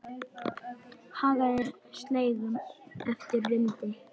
Hagaði seglum eftir vindi.